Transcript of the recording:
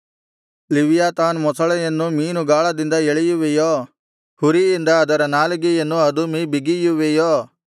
ಲಿವ್ಯಾತಾನ್ ಮೊಸಳೆಯನ್ನು ಮೀನು ಗಾಳದಿಂದ ಎಳೆಯುವಿಯೋ ಹುರಿಯಿಂದ ಅದರ ನಾಲಿಗೆಯನ್ನು ಅದುಮಿ ಬಿಗಿಯುವಿಯೋ